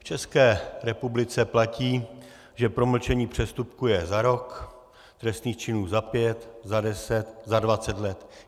V České republice platí, že promlčení přestupku je za rok, trestných činů za pět, za deset, za dvacet let.